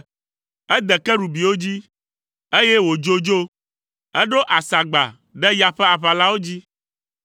Ede kerubiwo dzi, eye wòdzo dzo. Eɖo asagba ɖe ya ƒe aʋalawo dzi.